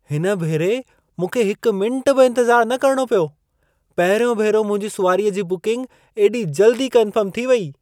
हिन भेरे मूंखे हिकु मिंटु बि इंतज़ारु न करिणो पियो। पहिरियों भेरो मुंहिंजी सुवारीअ जी बुकिंग एॾी जल्दी कन्फर्म थी वई!